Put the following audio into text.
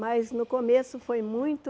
Mas no começo foi muito...